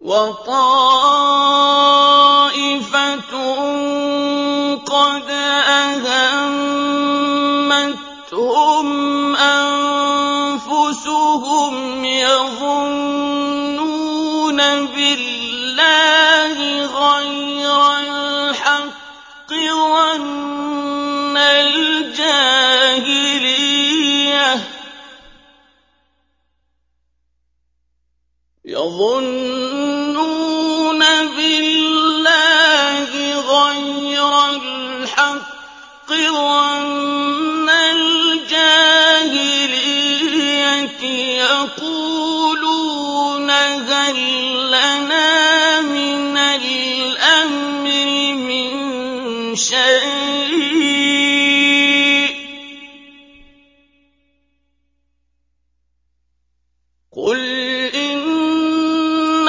وَطَائِفَةٌ قَدْ أَهَمَّتْهُمْ أَنفُسُهُمْ يَظُنُّونَ بِاللَّهِ غَيْرَ الْحَقِّ ظَنَّ الْجَاهِلِيَّةِ ۖ يَقُولُونَ هَل لَّنَا مِنَ الْأَمْرِ مِن شَيْءٍ ۗ قُلْ إِنَّ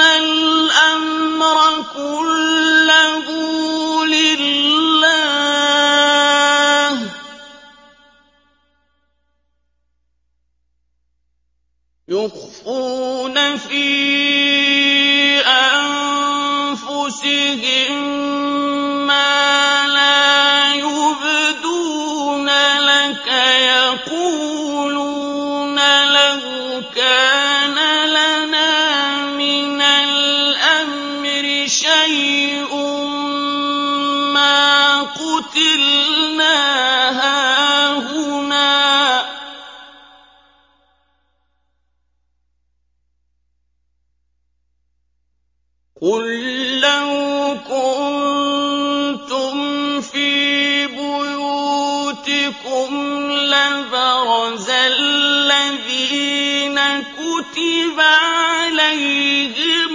الْأَمْرَ كُلَّهُ لِلَّهِ ۗ يُخْفُونَ فِي أَنفُسِهِم مَّا لَا يُبْدُونَ لَكَ ۖ يَقُولُونَ لَوْ كَانَ لَنَا مِنَ الْأَمْرِ شَيْءٌ مَّا قُتِلْنَا هَاهُنَا ۗ قُل لَّوْ كُنتُمْ فِي بُيُوتِكُمْ لَبَرَزَ الَّذِينَ كُتِبَ عَلَيْهِمُ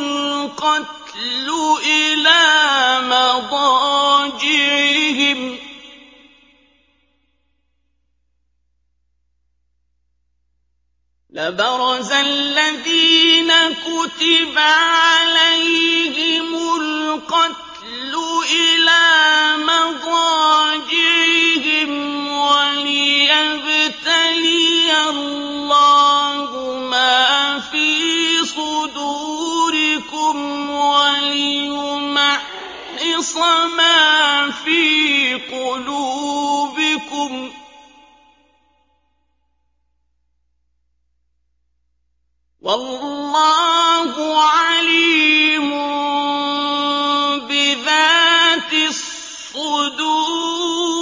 الْقَتْلُ إِلَىٰ مَضَاجِعِهِمْ ۖ وَلِيَبْتَلِيَ اللَّهُ مَا فِي صُدُورِكُمْ وَلِيُمَحِّصَ مَا فِي قُلُوبِكُمْ ۗ وَاللَّهُ عَلِيمٌ بِذَاتِ الصُّدُورِ